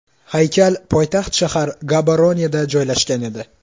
Haykal poytaxt shahar Gaboroneda joylashgan edi.